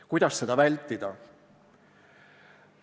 Kuidas seda vältida?